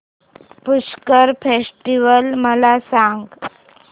Pushkar festival मला सांग